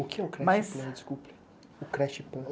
O que é o Creche Plan? Desculpe, o Creche Plan...